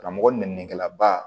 Karamɔgɔ nɛni laba